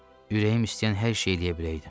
Ürəyim istəyən hər şeyi eləyə biləydim.